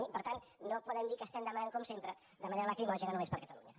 i per tant no podem dir que estem demanant com sempre de manera lacrimògena només per catalunya